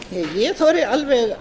ég þori alveg